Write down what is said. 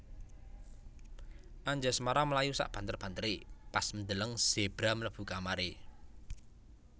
Anjasmara mlayu sak banter bantere pas ndeleng zebra mlebu kamare